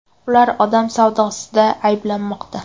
Ular odam savdosida ayblanmoqda.